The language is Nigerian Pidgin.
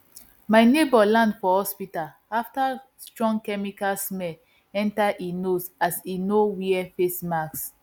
my neighbour land for hospital after strong chemical smell enter e nose as e no wear face mask